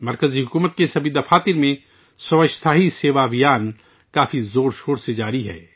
مرکزی حکومت کے تمام دفاتر میں سوچھتا ہی سیوا مہم پورے زور و شور سے چل رہی ہے